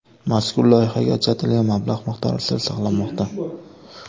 Mazkur loyihaga ajratilgan mablag‘ miqdori sir saqlanmoqda.